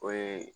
O ye